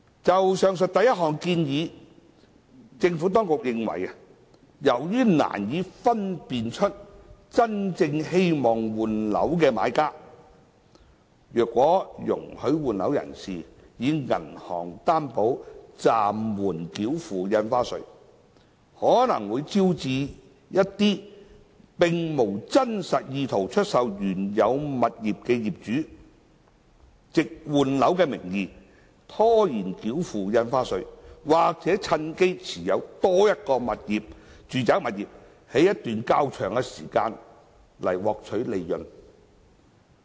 就上述第一項建議，政府當局認為，由於難以分辨真正希望換樓的買家，所以如果容許換樓人士以銀行擔保暫緩繳付印花稅，可能會招致一些並無真實意圖出售原有物業的業主，藉換樓的名義拖延繳付印花稅，或趁機持有多於一個住宅物業一段較長時間來獲取利潤。